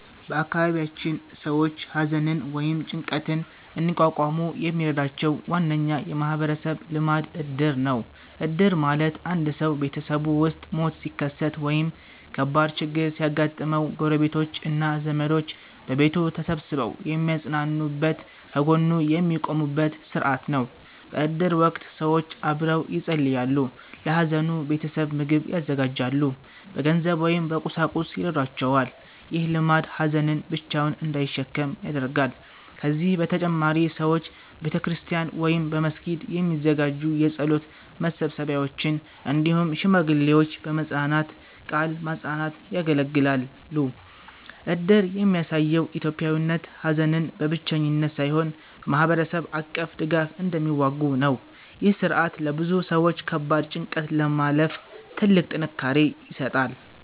በአካባቢያችን ሰዎች ሐዘንን ወይም ጭንቀትን እንዲቋቋሙ የሚረዳቸው ዋነኛ የማህበረሰብ ልማድ እድር ነው። እድር ማለት አንድ ሰው ቤተሰቡ ውስጥ ሞት ሲከሰት ወይም ከባድ ችግር ሲያጋጥመው፣ ጎረቤቶች እና ዘመዶች በቤቱ ተሰብስበው የሚያጽናኑበት፣ ከጎኑ የሚቆሙበት ሥርዓት ነው። በእድር ወቅት ሰዎች አብረው ይጸልያሉ፣ ለሐዘኑ ቤተሰብ ምግብ ያዘጋጃሉ፣ በገንዘብ ወይም በቁሳቁስ ይረዷቸዋል። ይህ ልማድ ሀዘንን ብቻውን እንዳይሸከም ያደርጋል። ከዚህ በተጨማሪ ሰዎች በቤተክርስቲያን ወይም በመስጊድ የሚዘጋጁ የጸሎት መሰብሰቢያዎች፣ እንዲሁም ሽማግሌዎች በመጽናናት ቃል ማጽናናት ያገለግላሉ። እድር የሚያሳየው ኢትዮጵያውያን ሐዘንን በብቸኝነት ሳይሆን በማህበረሰብ አቀፍ ድጋፍ እንደሚዋጉ ነው። ይህ ሥርዓት ለብዙ ሰዎች ከባድ ጭንቀትን ለማለፍ ትልቅ ጥንካሬ ይሰጣል።